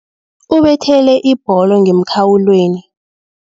Ubethele ibholo ngemkhawulweni.